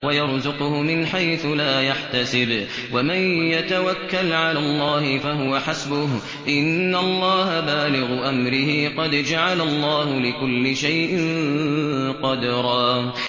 وَيَرْزُقْهُ مِنْ حَيْثُ لَا يَحْتَسِبُ ۚ وَمَن يَتَوَكَّلْ عَلَى اللَّهِ فَهُوَ حَسْبُهُ ۚ إِنَّ اللَّهَ بَالِغُ أَمْرِهِ ۚ قَدْ جَعَلَ اللَّهُ لِكُلِّ شَيْءٍ قَدْرًا